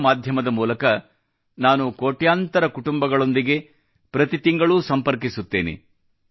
radio ಮಾಧ್ಯಮದ ಮೂಲಕ ನಾನು ಕೋಟ್ಯಾಂತರ ಕುಟುಂಬಗಳೊಂದಿಗೆ ಪ್ರತಿ ತಿಂಗಳು ಸಂಪರ್ಕಿಸುತ್ತೇನೆ